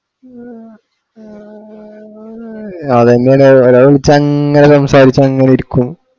അതെങ്ങനാ ഒരാൾ വിളിച്ചാല് അങ്ങനെ സംസാരിച്ചങ്ങനിരിക്കും